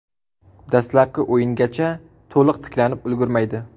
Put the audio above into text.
Dastlabki o‘yingacha to‘liq tiklanib ulgurmaydi.